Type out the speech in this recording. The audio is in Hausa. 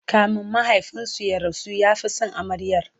kamin mahaifinsu ya rasu ya Fi San amaryar